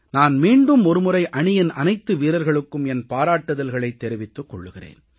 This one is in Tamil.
நான் மீண்டும் ஒரு முறை அணியின் அனைத்து வீரர்களுக்கும் என் பாராட்டுதல்களைத் தெரிவித்துக் கொள்கிறேன்